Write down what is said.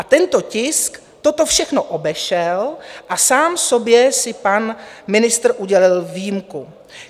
A tento tisk toto všechno obešel a sám sobě si pan ministr udělil výjimku.